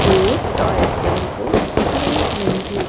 एक toy store को देख रही है।